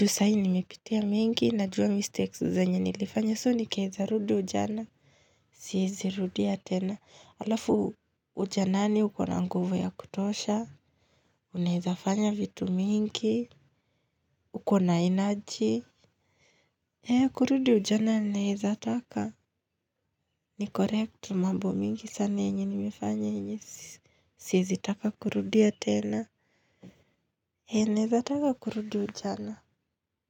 Ju sahi nimepitia mengi najua mistakes zenye nilifanya soo nikirudi ujana. Siezi rudia tena. Alafu ujanani ukona nguvu ya kutosha. Unaeza fanya vitu mingi. Ukona energy. Kurudi ujana naezataka. Ni correct mambo mingi sana yenye nimefanya yenye. Siezi taka kurudia tena. Hea nenezataka kurudi ujana.